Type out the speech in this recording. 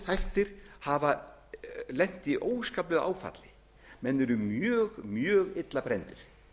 þættir hafa lent í óskaplegu áfalli menn eru mjög illa brenndir